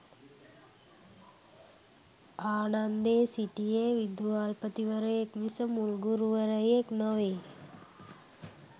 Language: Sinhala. ආනන්දේ සිටියේ විදුහල්පතිවරයෙක් මිස මුල් ගුරුවරයෙක් නොවේ.